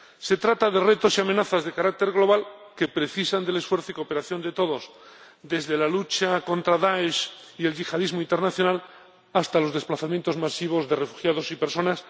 Se trata de retos y amenazas de carácter global que precisan del esfuerzo y cooperación de todos, desde la lucha contra Dáesh y el yihadismo internacional hasta los desplazamientos masivos de refugiados y personas.